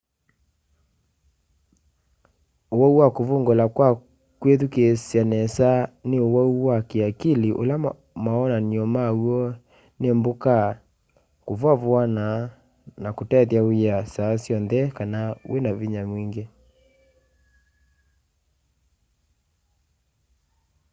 uwau wa kuvungula kwa kwithukiisya nesa ni uwau wa kiakili ula mawonany'o maw'o ni mbuka kuvuavuana na kutethya wia saa syonthe kana vinya mwingi